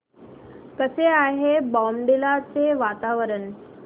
कसे आहे बॉमडिला चे वातावरण